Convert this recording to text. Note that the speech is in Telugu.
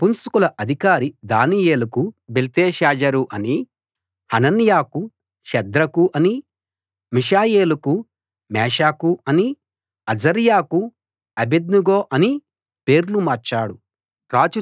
నపుంసకుల అధికారి దానియేలుకు బెల్తెషాజరు అనీ హనన్యాకు షద్రకు అనీ మిషాయేలుకు మేషాకు అనీ అజర్యాకు అబేద్నెగో అనీ పేర్లు మార్చాడు